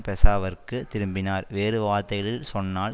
பெஷாவருக்குத் திரும்பினார் வேறு வார்த்தைகளில் சொன்னால்